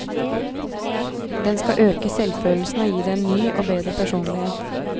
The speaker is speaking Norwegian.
Den skal øke selvfølelsen og gi deg en ny og bedre personlighet.